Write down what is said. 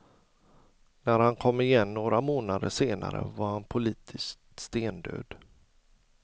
När han kom igen några månader senare var han politiskt stendöd.